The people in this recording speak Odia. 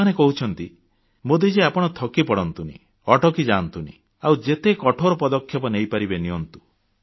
ସେମାନେ କହୁଛନ୍ତି ମୋଦିଜୀ ଆପଣ ଥକି ପଡ଼ନ୍ତୁନି ଅଟକି ଯାଆନ୍ତୁନି ଆଉ ଯେତେ କଠୋର ପଦକ୍ଷେପ ନେଇପାରିବେ ନିଅନ୍ତୁ